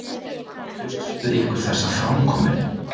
Hugsið ykkur þessa framkomu!